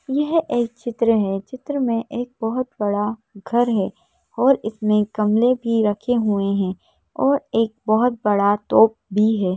यह एक चित्र है चित्र में एक बहुत बड़ा घर है और इसमें गमले भी रखे हुए हैं और एक बहुत बड़ा तोप भी है।